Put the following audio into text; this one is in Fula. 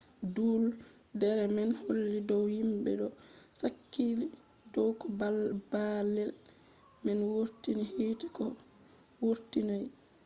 duuldere man holli dow himɓe ɗo sakli dow ko baalle man wurtini hite ko wurtinai